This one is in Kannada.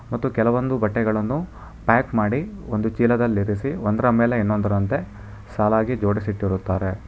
ಮತ್ತು ಕೆಲವೊಂದು ಬಟ್ಟೆಗಳನ್ನು ಪ್ಯಾಕ್ ಮಾಡಿ ಒಂದು ಚೀಲದಲ್ಲಿರಿಸಿ ಒಂದರ ಮೇಲೆ ಇನ್ನೊಂದರಂತೆ ಸಾಲಾಗಿ ಜೋಡಿಸಿಟ್ಟಿರುತ್ತಾರೆ.